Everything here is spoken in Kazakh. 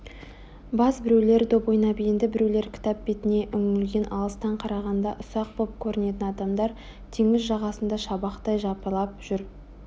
баз-біреулер доп ойнап енді біреулер кітап бетіне үңілген алыстан қарағанда ұсақ боп көрінетін адамдар теңіз жағасында шабақтай жапырлап жүр